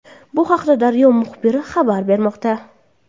Bu haqida «Daryo» muxbiri xabar bermoqda.